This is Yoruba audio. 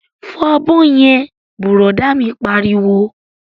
Fọ abọ́ yẹn! Bùrọ̀dá mi pariwo